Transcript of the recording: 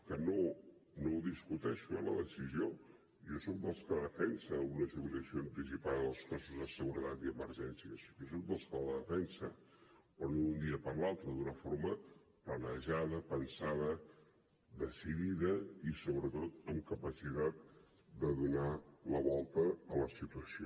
que no la discuteixo eh la decisió jo soc dels que defensa una jubilació anticipada dels cossos de seguretat i emergències jo soc dels que la defensa però no d’un dia per l’altre d’una forma planejada pensada decidida i sobretot amb capacitat de donar la volta a la situació